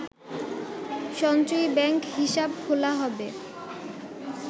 সঞ্চয়ী ব্যাংক হিসাব খোলা হবে